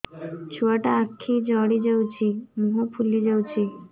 ଛୁଆଟା ଆଖି ଜଡ଼ି ଯାଉଛି ମୁହଁ ଫୁଲି ଯାଉଛି